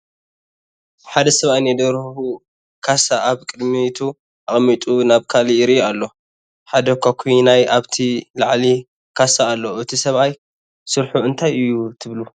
ሓደ ሰብኣይ ናይ ደርሁ ካሳ ኣብ ቅድሚቱ ኣቐሚጡ ናብ ካሊእ ይሪኢ ኣሎ፡፡ ሓደ ኳኩይናይ ኣብቲ ልዕሊ ካሳ ኣሎ፡፡ እቲ ሰብኣይ ስርሑ እንታይ እዩ ትብሉ?